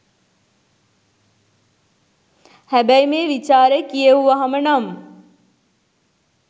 හැබැයි මේ විචාරෙ කියෙව්වහම නම්